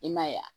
I m'a ye wa